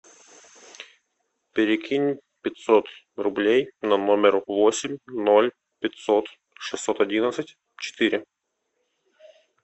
перекинь пятьсот рублей на номер восемь ноль пятьсот шестьсот одиннадцать четыре